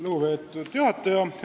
Lugupeetud juhataja!